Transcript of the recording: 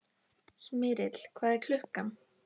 Smyrill, hvað er klukkan?